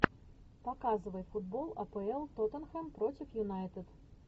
показывай футбол апл тоттенхэм против юнайтед